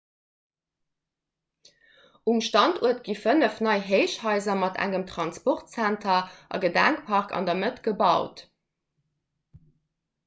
um standuert gi fënnef nei héichhaiser mat engem transportzenter a gedenkpark an der mëtt gebaut